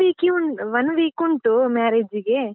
ಒಂದ್ week ಉಂಡ್ ಒಂದ್ week ಉಂಟು marriage ಗೆ.